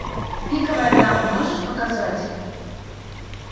пиковая дама можешь показать